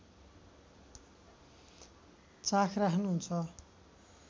चाख राख्नुहुन्छ